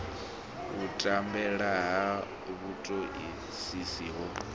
u tambela ha vhutoisisi ho